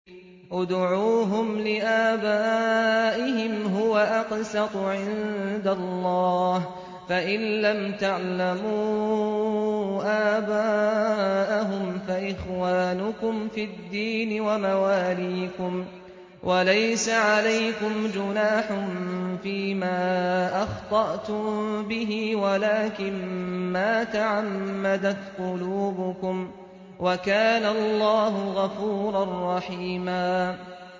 ادْعُوهُمْ لِآبَائِهِمْ هُوَ أَقْسَطُ عِندَ اللَّهِ ۚ فَإِن لَّمْ تَعْلَمُوا آبَاءَهُمْ فَإِخْوَانُكُمْ فِي الدِّينِ وَمَوَالِيكُمْ ۚ وَلَيْسَ عَلَيْكُمْ جُنَاحٌ فِيمَا أَخْطَأْتُم بِهِ وَلَٰكِن مَّا تَعَمَّدَتْ قُلُوبُكُمْ ۚ وَكَانَ اللَّهُ غَفُورًا رَّحِيمًا